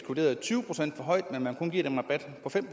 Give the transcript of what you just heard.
vurderet tyve procent for højt mål med at man kun giver dem en rabat på fem